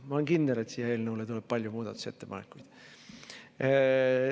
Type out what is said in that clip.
Ma olen kindel, et eelnõu kohta tuleb palju muudatusettepanekuid.